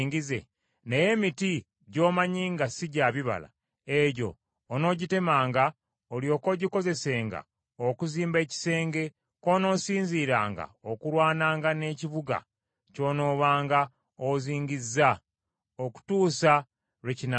Naye emiti gy’omanyi nga si gya bibala, egyo onoogitemanga olyoke ogikozesenga okuzimba ekisenge kw’onoosinziiranga okulwananga n’ekibuga ky’onoobanga ozingizza, okutuusa lwe kinaagwanga.